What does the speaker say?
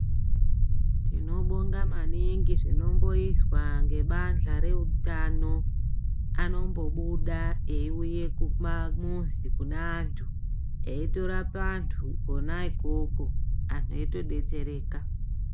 Tinobonga maningi zvinomboizwa ngebandhla reutano. Anombobuda eiuye mumamuzi kune antu. Eitorapa antu kona ikoko antu eitodetsereka.